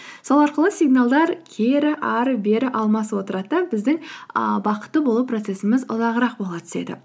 сол арқылы сигналдар кері ары бері алмасып отырады да біздің ааа бақытты болу процессіміз ұзағырақ бола түседі